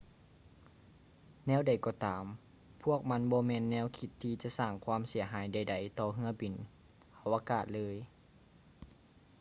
ແນວໃດກໍຕາມ ພວກມັນບໍ່ແມ່ນແນວຄິດທີ່ຈະສ້າງຄວາມເສຍຫາຍໃດໆຕໍ່ເຮືອບິນອາວະກາດເລີຍ